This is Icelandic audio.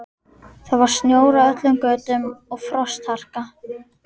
Það var snjór á öllum götum og frostharka.